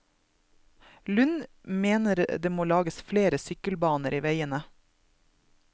Lund mener det må lages flere sykkelbaner i veiene.